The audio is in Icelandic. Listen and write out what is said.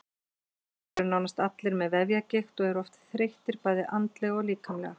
Þeir eru nánast allir með vefjagigt og eru oft þreyttir bæði andlega og líkamlega.